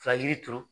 Ka yiri turu